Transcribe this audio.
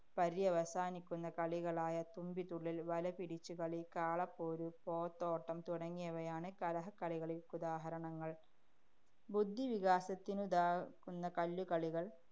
പര്യവസാനിക്കുന്ന കളികളായ തുമ്പിതുള്ളല്‍, വലപിടിച്ചുകളി, കാളപ്പോര്, പോത്തോട്ടം തുടങ്ങിയവയാണ് കലഹക്കളികള്‍ക്കുദാഹരണങ്ങള്‍. ബുദ്ധിവികാസത്തിനുതകുന്ന കല്ലുകളികള്‍,